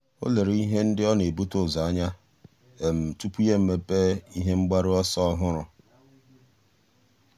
ọ́ lérè ihe ndị ọ́ nà-ebute ụzọ anya tupu yá èmépé ihe mgbaru ọsọ ọ́hụ́rụ́.